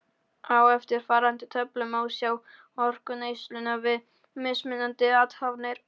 Á eftirfarandi töflu má sjá orkuneysluna við mismunandi athafnir.